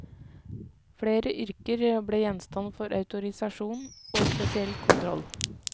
Flere yrker ble gjenstand for autorisasjon og spesiell kontroll.